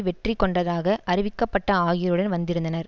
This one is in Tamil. வெற்றி கொண்டதாக அறிவிக்கப்பட்ட ஆகியோருடன் வந்திருந்தனர்